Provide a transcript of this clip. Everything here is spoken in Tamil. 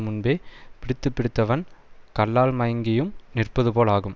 முன்பே பிடித்து பிடித்தவன் கள்ளால் மயங்கியும் நிற்பது போல் ஆகும்